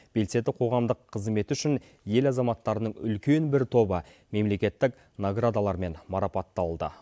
белсенді қоғамдық қызметі үшін ел азаматтарының үлкен бір тобы мемлекеттік наградалармен марапатталды